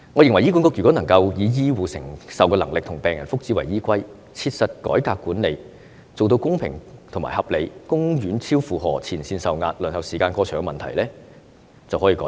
如果醫管局能夠以醫護承受能力和病人福祉為依歸，切實改革管理，做到公平和合理，公院超負荷、前線受壓、輪候時間過長等問題便可獲得改善。